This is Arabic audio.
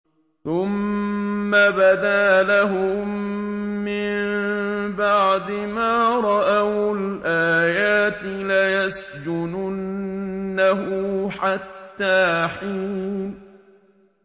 ثُمَّ بَدَا لَهُم مِّن بَعْدِ مَا رَأَوُا الْآيَاتِ لَيَسْجُنُنَّهُ حَتَّىٰ حِينٍ